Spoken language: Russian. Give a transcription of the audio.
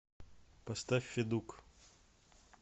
поставь федук